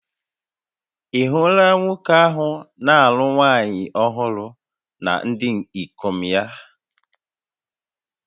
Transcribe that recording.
Ị̀ hụla nwoke ahụ na-alụ nwaanyị ọhụrụ na ndị ikom ya?